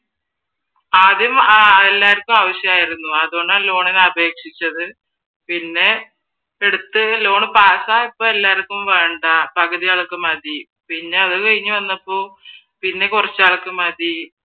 ആദ്യം എല്ലാവര്ക്കും ആവിശ്യം ആയിരുന്നു അതുകൊണ്ടാണ് ലോണിന് അപേക്ഷിച്ചത് പിന്നെ എടുത്ത് ലോൺ പാസ്സ് ആയപ്പോൾ എല്ലാർക്കും വേണ്ട പകുതി ആൾക്ക് മതി പിന്നെ അതുകഴിഞ്ഞ് വന്നപ്പോ പിന്നെ കൊറച്ചാൾക്ക് മതി